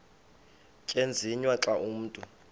tyenziswa xa umntu